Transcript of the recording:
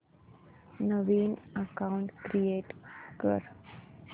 नवीन account create कर